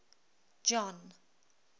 john